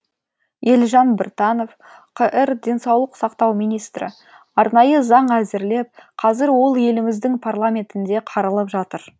елжан біртанов қр денсаулық сақтау министрі арнайы заң әзірлеп қазір ол еліміздің парламентінде қаралып жатыр